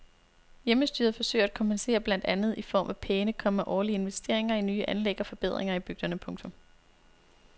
Hjemmestyret forsøger at kompensere blandt andet i form af pæne, komma årlige investeringer i nye anlæg og forbedringer i bygderne. punktum